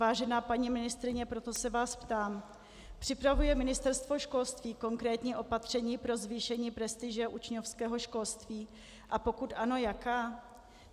Vážená paní ministryně, proto se vás ptám: Připravuje Ministerstvo školství konkrétní opatření pro zvýšení prestiže učňovského školství, a pokud ano, jaká?